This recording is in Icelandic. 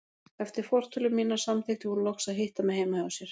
Eftir fortölur mínar samþykkti hún loks að hitta mig heima hjá sér.